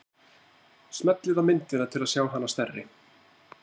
Smellið á myndina til að sjá hana stærri.